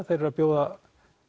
þeir eru að bjóða